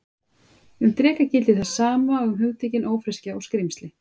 Um dreka gildir það sama og um hugtökin ófreskja og skrímsli.